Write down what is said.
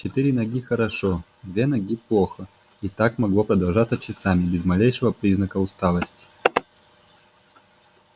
четыре ноги хорошо две ноги плохо и так могло продолжаться часами без малейшего признака усталости